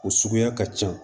O suguya ka ca